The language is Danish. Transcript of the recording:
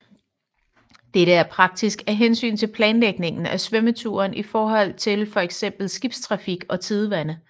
Dette er praktisk af hensyn til planlægning af svømmeturen i forhold til for eksempel skibstrafik og tidevand